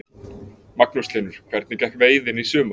Magnús Hlynur: Hvernig gekk veiðin í sumar?